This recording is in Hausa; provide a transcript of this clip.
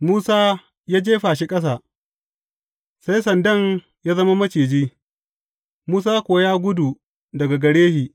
Musa ya jefa shi ƙasa, sai sandan ya zama maciji, Musa kuwa ya gudu daga gare shi.